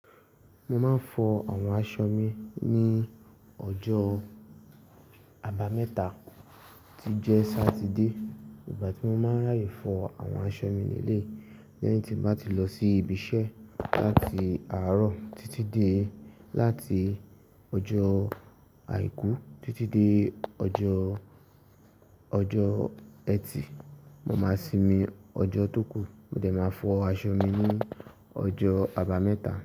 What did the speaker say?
Mo máa ń fọ àwọn aṣọ mi ní ọjọ́ àbámẹ́ta, tí i jẹ́ Sátidé. Ìgbà tí mo máa ń ráàyè fọ àwọn aṣọ mi leleyi, lẹ́yìn tí mo bá ti lọ sí ibi iṣẹ́ láti àárọ̀ títí dé láti ọjọ́ Àìkú títí dé ọjọ́, ọjọ́ ẹtì. Mo máa simi ọjọ́ tó kù, mo dẹ̀ máa fọ aṣọ mi ní ọjọ́ àbámẹ́ta.